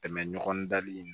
Tɛmɛ ɲɔgɔn dali